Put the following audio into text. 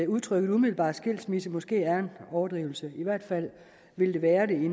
udtrykket umiddelbar skilsmisse måske er en overdrivelse i hvert fald vil det være det i